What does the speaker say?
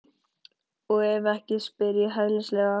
Og ef ekki, spyr ég hæðnislega.